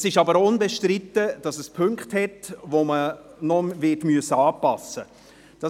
Es ist aber auch unbestritten, dass es Punkte gibt, die man noch anpassen müssen wird.